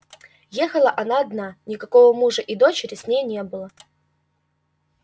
ехала она одна никакого мужа и дочери с ней не было